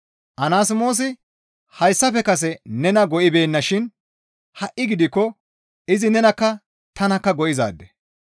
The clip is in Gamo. Anasmoosi hayssafe kase nena go7ibeenna shin ha7i gidikko izi nenakka tanakka go7izaade.